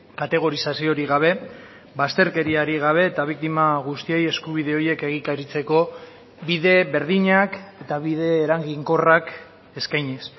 kategorizaziorik gabe bazterkeriarik gabe eta biktima guztiei eskubide horiek egikaritzeko bide berdinak eta bide eraginkorrak eskainiz